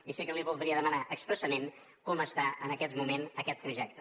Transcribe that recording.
i sí que li voldria demanar expressament com està en aquest moment aquest projecte